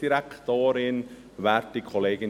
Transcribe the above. Das Wort hat der Motionär.